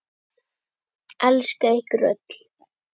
Elska ykkur öll.